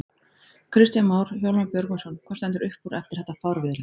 Kristján Már: Hjálmar Björgvinsson, hvað stendur upp úr eftir þetta fárviðri?